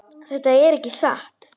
Þetta er ekki satt!